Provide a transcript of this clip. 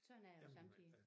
Sådan er det sommetider